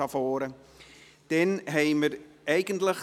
Das Netzgerät liegt hier vorne bereit.